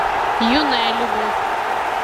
юная любовь